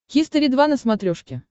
хистори два на смотрешке